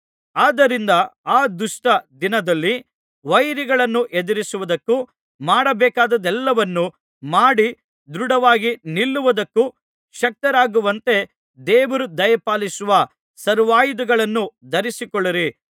ಆದ್ದರಿಂದ ಆ ದುಷ್ಟ ದಿನದಲ್ಲಿ ವೈರಿಗಳನ್ನು ಎದುರಿಸುವುದಕ್ಕೂ ಮಾಡಬೇಕಾದದ್ದೆಲ್ಲವನ್ನು ಮಾಡಿ ದೃಢವಾಗಿ ನಿಲ್ಲುವುದಕ್ಕೂ ಶಕ್ತರಾಗುವಂತೆ ದೇವರು ದಯಪಾಲಿಸುವ ಸರ್ವಾಯುಧಗಳನ್ನು ಧರಿಸಿಕೊಳ್ಳಿರಿ